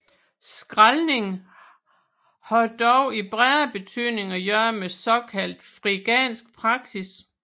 Skraldning har dog i bredere betydning at gøre med såkaldt frigansk praksis